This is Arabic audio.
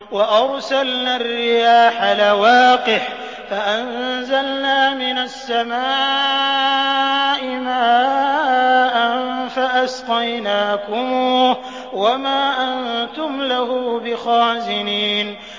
وَأَرْسَلْنَا الرِّيَاحَ لَوَاقِحَ فَأَنزَلْنَا مِنَ السَّمَاءِ مَاءً فَأَسْقَيْنَاكُمُوهُ وَمَا أَنتُمْ لَهُ بِخَازِنِينَ